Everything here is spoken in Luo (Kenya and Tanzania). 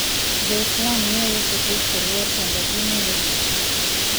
Jo-Islam miyo Yesu Kristo luor kendo gimiye duong'.